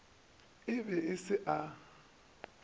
a e be se a